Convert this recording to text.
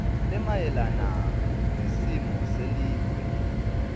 lemayelana nesimo selive